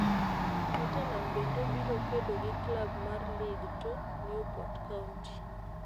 Tottenham bende biro kedo gi Club mar League Two, Newport County.